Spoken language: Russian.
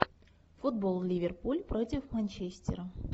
футбол ливерпуль против манчестера